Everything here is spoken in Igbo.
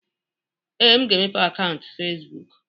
Ee, m ga-emepe akaụntụ Fezbụk.